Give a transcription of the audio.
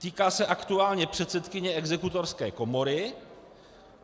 Týká se aktuálně předsedkyně Exekutorské komory.